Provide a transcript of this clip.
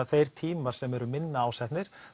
þeir tímar sem eru minna ásetnir